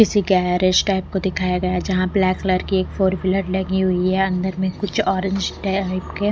किसी garage type को दिखाया गया जहां ब्लैक कलर की एक फोर व्हीलर लगी हुई है अंदर में कुछ ऑरेंज टाइप के--